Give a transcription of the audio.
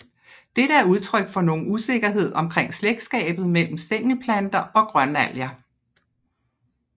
Dette er udtryk for nogen usikkerhed omkring slægtskabet mellem Stængelplanter og Grønalger